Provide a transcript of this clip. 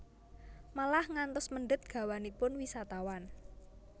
Malah ngantos mendhet gawanipun wisatawan